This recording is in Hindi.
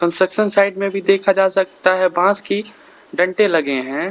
कंस्ट्रक्शन साइड में भी देखा जा सकता है बांस की डंटे लगे हैं।